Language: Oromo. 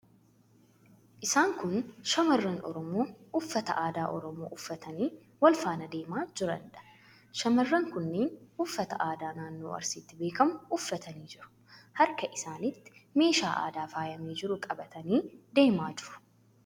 Isaan kun shamarran Oromoo uffata aadaa Oromoo uffatanii wal faana deemaa jiraniidha. Shamarran kunneen uffata aadaa naannoo Arsiitti beekamu uffatanii jiru. Harka isaaniitti meeshaa aadaa faayamee jiru qabatanii deemaa jiru.